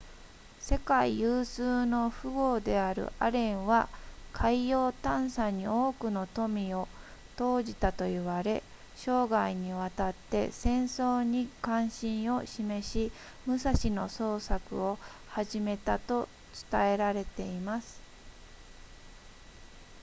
世界有数の富豪であるアレンは海洋探査に多くの富を投じたと言われ生涯にわたって戦争に関心を示し武蔵の捜索を始めたと伝えられています